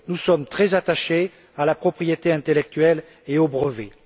Nous sommes très attachés à la propriété intellectuelle et aux brevets.